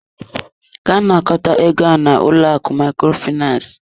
Gaa nakọta ego ahụ n'ụlọ akụ Microfinance!